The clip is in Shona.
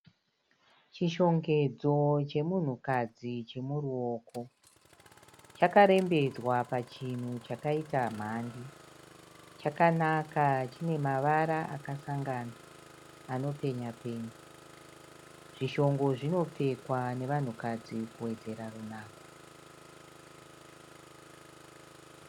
Chishongedzo chemunhu kadzi chemuruoko. Chakarembedzwa pa chinhu chakaita mhandi. Chakanaka chine mavara akasangana anopenya-penya. Zvishongo zvinopfekwa nevanhu kadzi kuwedzera runako.